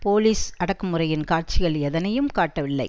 police அடக்கு முறையின் காட்சிகள் எதனையும் காட்டவில்லை